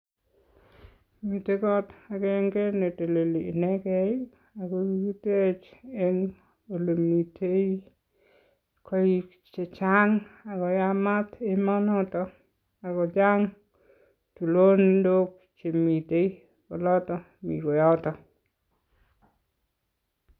Mitei kot akenge ne teleli inekei ii, ako kikitech eng olemitei koik che chang ako yamat emonoto ak ko chang tulondok chemitei olotok mi koyoto.